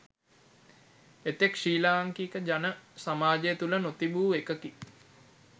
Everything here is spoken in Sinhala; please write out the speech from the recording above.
එතෙක් ශ්‍රී ලාංකික ජන සමාජය තුළ නොතිබූ එකකි.